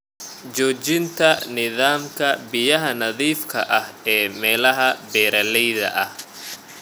Joojinta nidaamka biyaha nadiifka ah ee meelaha beeralayda ah.